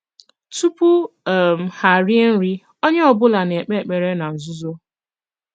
Tùpù um ha rìè nri, onye ọ̀bùla na-ekpè ekpèrè ná nzùzò.